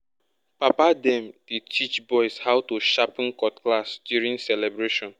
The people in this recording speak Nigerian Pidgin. papa dem dey teach boys how to sharpen cutlass during celebration.